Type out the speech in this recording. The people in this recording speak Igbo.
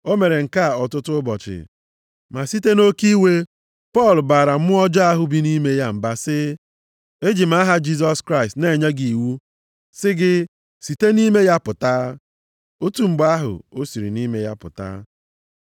O mere nke a ọtụtụ ụbọchị. Ma site nʼoke iwe, Pọl baara mmụọ ọjọọ ahụ bi nʼime ya mba sị, “Eji m aha Jisọs Kraịst na-enye gị iwu sị gị site nʼime ya pụta!” Otu mgbe ahụ o siri nʼime ya pụta.